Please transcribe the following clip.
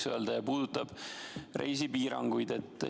See puudutab reisipiiranguid.